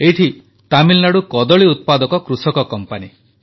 ଏଇଠି ତାମିଲନାଡୁ କଦଳୀ ଉତ୍ପାଦକ କୃଷକ କମ୍ପାନୀ